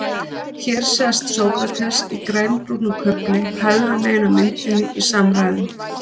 Hér sést Sókrates í grænbrúnum kufli hægra megin á myndinni í samræðum.